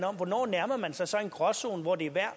om hvornår nærmer man sig så en gråzone hvor det er værd at